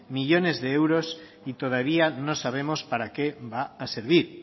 millónes de euros y todavía no sabemos para qué va a servir